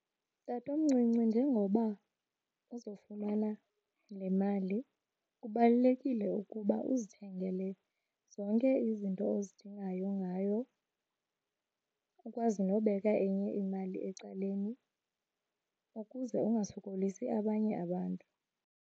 Tatomncinci, njengoba uzofumana le mali kubalulekile ukuba uzithengele zonke izinto ozidingayo ngayo. Ukwazi nobeka enye imali ecaleni ukuze ungasokolisi abanye abantu.